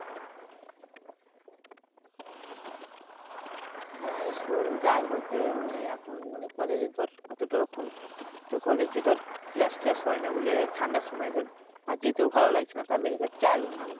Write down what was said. হ্যাঁ school যাই বলতে মানে এখন মানে কলেজে ধর তোর কলেজে ধর class টেলাস হয়ে না বলে ঠান্ডার সময় ধর আর যেতেও ভালো লাগছে না। তাহলে এবার যায় ও না।